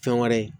Fɛn wɛrɛ ye